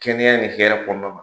Kɛnɛya ni hɛrɛ kɔnɔna na.